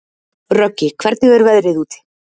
Röggi, hvernig er veðrið úti?